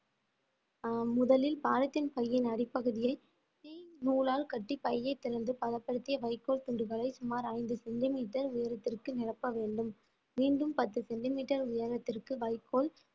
அஹ் முதலில் பாலித்தீன் பையின் அடிப்பகுதியை தீ நூலால் கட்டி பையைத் திறந்து பதப்படுத்திய வைக்கோல் துண்டுகளை சுமார் ஐந்து சென்டிமீட்டர் உயரத்திற்கு நிரப்ப வேண்டும் மீண்டும் பத்து சென்டிமீட்டர் உயரத்திற்கு வைக்கோல்